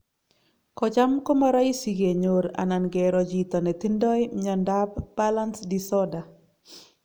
kocham komaraisi kenyor anan kero chito netindai myanta ab Balance disorder